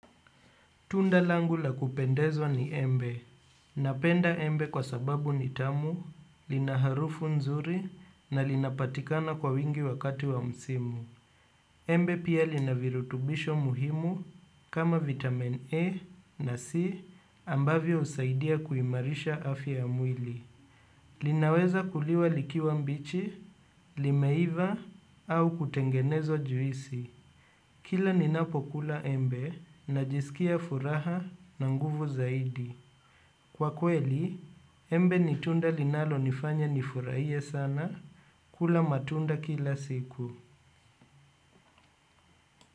Tunda langu la kupendezwa ni embe. Napenda embe kwa sababu ni tamu lina harufu nzuri na linapatikana kwa wingi wakati wa msimu. Embe pia lina virutubisho muhimu kama vitamin A na C ambavyo usaidia kuimarisha afya ya mwili. Linaweza kuliwa likiwa mbichi, limeiva au kutengenezwa juisi. Kila ninapokula embe ninajisikia furaha na nguvu zaidi. Kwa kweli, embe ni tunda linalo nifanya nifuraie sana kula matunda kila siku.